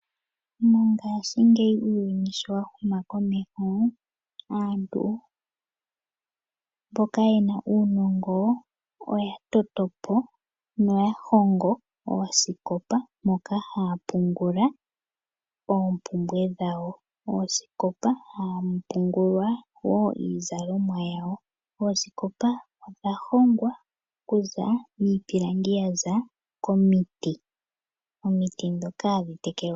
Mongashingeyi uuyuni sho wahuma komeho aantu mboka yena uunongo oyatoto po na oyahongo oosikopa moka haya pungula oompumbwe dhawo, oosikopa hamu pungulwa wo iizalomwa yawo. Oosikopa odha hongwa okuza miipilangi yaza koomiiti, oomiiti dhoka hadhi tekelwa.